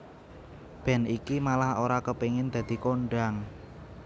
Band iki malah ora kepengin dadi kondhang